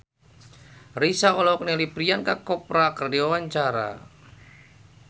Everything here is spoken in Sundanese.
Raisa olohok ningali Priyanka Chopra keur diwawancara